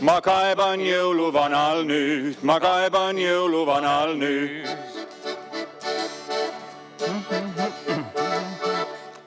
Ma kaeban jõuluvanal' nüüd, ma kaeban jõuluvanal' nüüd.